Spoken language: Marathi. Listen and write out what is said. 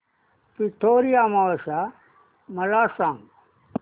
पिठोरी अमावस्या मला सांग